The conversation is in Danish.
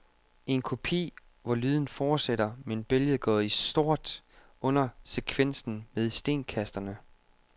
En kopi, hvor lyden fortsætter men billedet går i sort, under sekvensen med stenkasterne.